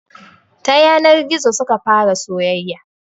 Ta yanar gizo suka fara soyayya